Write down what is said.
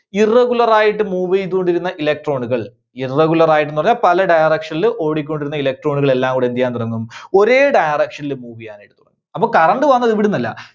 irregular ആയിട്ട് move ചെയ്തുകൊണ്ടിരുന്ന electron കൾ, irregular ആയിരുന്നവ പല direction ല് ഓടിക്കൊണ്ടിരുന്ന electron കൾ എല്ലാംകൂടി എന്തുചെയ്യാൻ തുടങ്ങും? ഒരേ direction ൽ move ചെയ്യാനായിട്ട് തുടങ്ങും. അപ്പോ current വന്നത് ഇവിടുന്നല്ല.